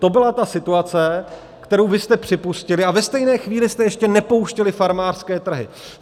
To byla ta situace, kterou vy jste připustili a ve stejné chvíli jste ještě nepouštěli farmářské trhy.